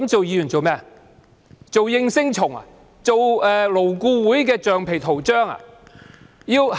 是為了做應聲蟲或勞顧會的橡皮圖章嗎？